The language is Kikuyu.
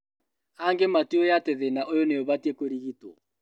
Angĩ matiũĩ atĩ thĩna ũyũ nĩ ũbatiĩ kũrigitwo